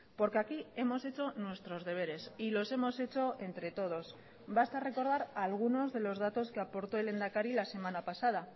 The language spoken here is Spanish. porque aquí hemos hecho nuestros deberes y los hemos hecho entre todos basta recordar algunos de los datos que aportó el lehendakari la semana pasada